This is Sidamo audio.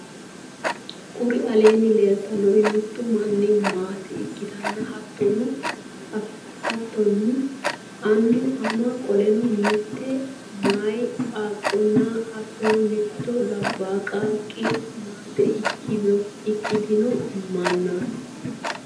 kuri aleenni leelitannori mittu mini maate ikkitanna hattonni annu ama qoleno mitte meyaa qaaqonna hattonni mittu labaa qaaqqi maate ikkitino mannaati.